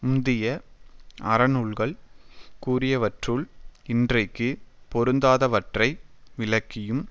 முந்திய அறநூல்கள் கூறியவற்றுள் இன்றைக்கு பொருந்தாதவற்றை விலக்கியும்